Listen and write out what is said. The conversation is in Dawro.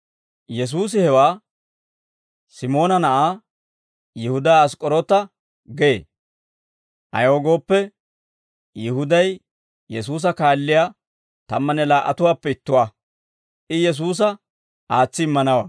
Yesuusi hewaa Simoona na'aa Yihudaa Ask'k'oroota gee; ayaw gooppe, Yihuday Yesuusa kaalliyaa tammanne laa"atuwaappe ittuwaa; I Yesuusa aatsi immanawaa.